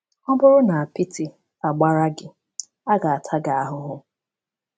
Ọ bụrụ na apịtị agbara gị, a ga-ata gị ahụhụ.”